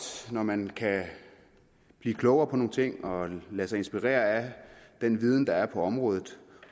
når man kan blive klogere på nogle ting og lade sig inspirere af den viden der er på området